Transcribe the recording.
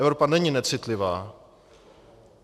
Evropa není necitlivá.